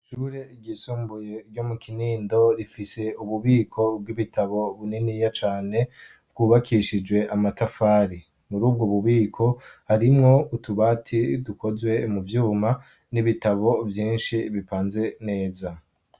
Ishure ryisumbuye ryo mu Kinindo rifise ububiko bw'ibitabo buniniya cane bwubakishijwe amatafari. Muri ubwo bubiko harimwo utubati dukozwe mu vyuma n'ibitabo vyinshi bipanze neza.